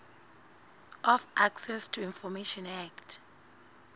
of access to information act